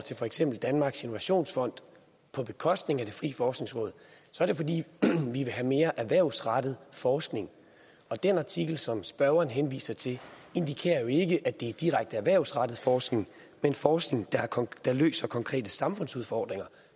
til for eksempel danmarks innovationsfond på bekostning af det frie forskningsråd er det fordi vi vil have mere erhvervsrettet forskning og den artikel som spørgeren henviser til indikerer jo ikke at det er direkte erhvervsrettet forskning men forskning der løser konkrete samfundsudfordringer